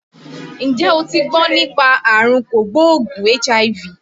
Ǹjẹ́ o ti gbọ́ nípa àrùn kò gbóògùn HIV?